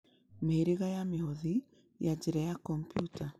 Mĩhĩrĩga ya mĩhothi ya njĩra ya kompiuta: